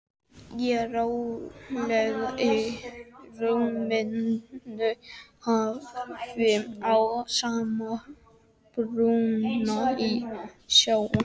Ég róleg í rúminu horfi á sama bruna í sjónvarpinu.